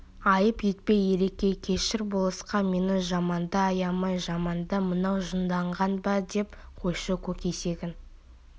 айып етпе ереке кешір болысқа мені жаманда аямай жаманда мынау жынданған ба деп қойшы көк есегін